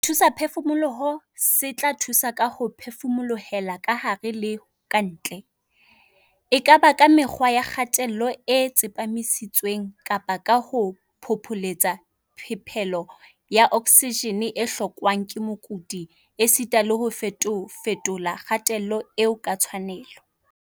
Sethusaphefumoloho se tla thusa ka ho phefumolohela kahare le ka ntle, e ka ba ka mekgwa ya kgatello e tsepamisitsweng kapa ka ho phopholetsa phepelo ya oksijene e hlokwang ke mokudi esita le ho fetofetola kgatello eo ka tshwanelo.